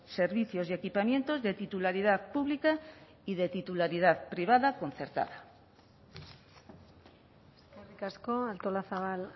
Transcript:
servicios y equipamientos de titularidad pública y de titularidad privada concertada eskerrik asko artolazabal